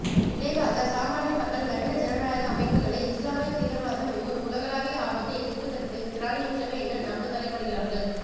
விளைவாக சாமானிய மக்கள் நவீன ஜனநாயக அமைப்புகளே இஸ்லாமியத் தீவிரவாதம் என்னும் உலகளாவிய ஆபத்தை எதிர்ப்பதற்குத் திராணியற்றவை என நம்பத்தலைப்படுகிறார்கள்